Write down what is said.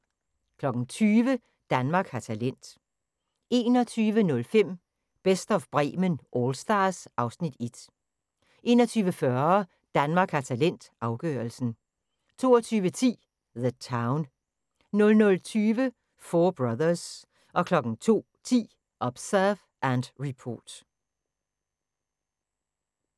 20:00: Danmark har talent 21:05: Best of Bremen Allstars (Afs. 1) 21:40: Danmark har talent – afgørelsen 22:10: The Town 00:20: Four Brothers 02:10: Observe and Report